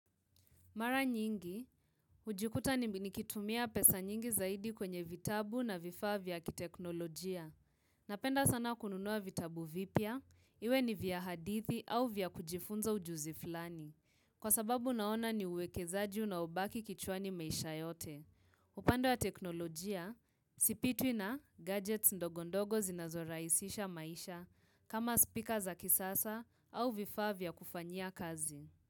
Mara nyingi, hujikuta nikitumia pesa nyingi zaidi kwenye vitabu na vifaa vya kiteknolojia. Napenda sana kununua vitabu vipya, iwe ni vya hadithi au vya kujifunza ujuzi flani. Kwasababu naona ni uwekezaji unaobaki kichwani maisha yote. Upando ya teknolojia, sipitwi na gadgets ndogondogo zinazoraisisha maisha kama speaker za kisasa au vifaa vya kufanya kazi.